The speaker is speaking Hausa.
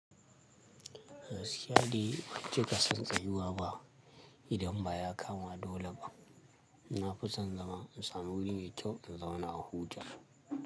Gaskiya de ban cika son tsayuwa ba idan ba ya kama dole ba. Nafi son zama in samu wuri mai kyau in zauna in huta.